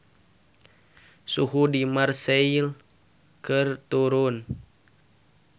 Suhu di Marseille keur turun